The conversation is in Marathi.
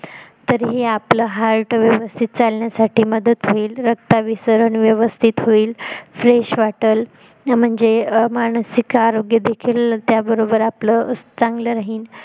तरीही आपलं heart व्यवस्तीत चालण्यासाठी मदत होईल रक्ताभिसरण व्यवस्तीत होईल fresh वाटेल म्हणजेच मानसिक आरोग्य देखील त्याबरोबर आपल चांगल राहील